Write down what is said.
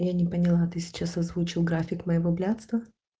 я не поняла ты сейчас озвучил график моего блядства